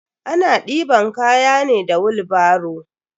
Ana deban kaya ne da wilbaro.